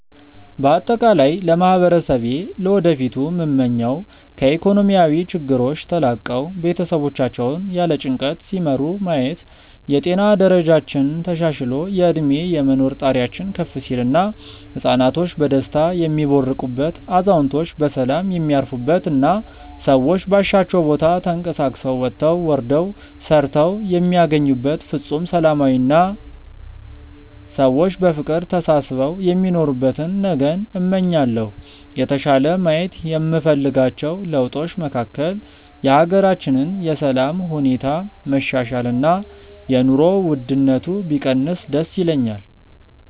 በአጠቃላይ ለማህበረሰቤ ለወደፊቱ ምመኘው ከኢኮኖሚያዊ ችግሮች ተላቀው ቤተሰቦቻቸውን ያለ ጭንቀት ሲመሩ ማየት፣ የጤና ደረጃችን ተሻሽሎ የእድሜ የመኖር ጣሪያችን ከፍ ሲል እና ህፃናቶች በደስታ የሚቦርቁበት፣ አዛውንቶች በሰላም የሚያርፉበት እና ሰዎች ባሻቸው ቦታ ተንቀሳቅሰው ወጥተው ወርደው ሰርተው የሚያገኙበት ፍፁም ሰላማዊ አና ሰዎች በፍቅር ተሳስበው የሚኖሩበትን ነገን እመኛለሁ። የተሻለ ማየት የምፈልጋቸው ለውጦች መካከል የሀገራችንን የሰላም ሁኔታ መሻሻል እና የኑሮ ውድነቱ ቢቀንስ ደስ ይለኛል።